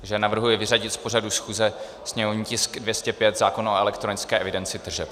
Takže navrhuji vyřadit z pořadu schůze sněmovní tisk 205 - zákon o elektronické evidenci tržeb.